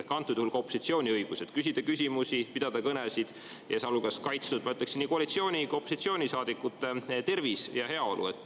Ehk antud juhul peaks olema opositsioonil õigus küsida küsimusi, pidada kõnesid, sealjuures peaks olema kaitstud, ma ütleksin, nii koalitsiooni‑ kui ka opositsioonisaadikute tervis ja heaolu.